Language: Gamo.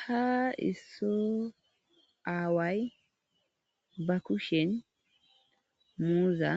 ha isso aaway ba kushen muuza